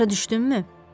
Başa düşdünmü?